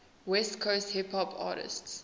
west coast hip hop artists